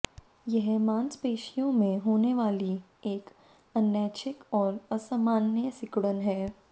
यह मांसपेशियों में होने वाली एक अनैच्छिक और असामान्य सिकुड़न है